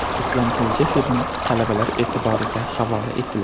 Islomxo‘ja filmi talabalar e’tiboriga havola etildi.